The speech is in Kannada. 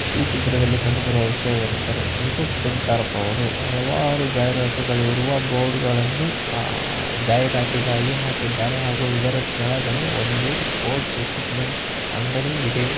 ಈ ಚಿತ್ರದಲ್ಲಿ ಕಂಡುಬರುವ ವಿಷಯವೆನೆಂದರೆ ಮುತ್ತೂಟ್‌ ಫೈನಾಸ್ಸ್‌ ನವರು ಹಲವಾರು ಜಾಹಿರಾತುಗಳು ಇರುವ ಬೋರ್ಡ್‌ಗಳನ್ನು ಜಾಹಿರಾತಿಗಾಗಿ ಹಾಕಿದ್ದಾರೆ ಹಾಗೂ ಇದರ ಕೆಳಗಡೆ ಒಂದು ಸ್ಪೋಟ್ಸ್ ಇಕ್ವಿಮೆಂಟ್ಸ್‌ ಅಂಗಡಿ ಇದೆ.